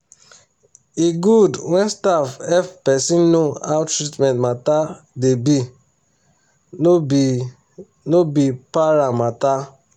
e goood when staff hep persin know how treatment matter da be no be no be para matter